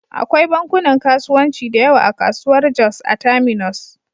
Akwai bankunan kasuwanci da yawa a kasuwar Jos a Terminus.